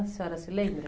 A senhora se lembra?